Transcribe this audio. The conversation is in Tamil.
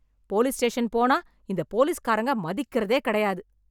போலீஸ் ஸ்டேஷன் போனா இந்த போலீஸ்காரங்க மதிக்கிறதே கிடையாது.